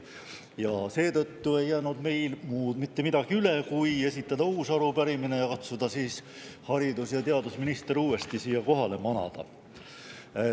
Ja seetõttu ei jäänud meil mitte midagi muud üle, kui esitada uus arupärimine ja katsuda siis haridus- ja teadusminister uuesti siia kohale manada.